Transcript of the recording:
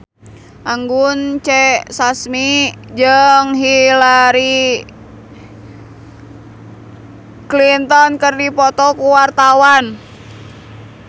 Anggun C. Sasmi jeung Hillary Clinton keur dipoto ku wartawan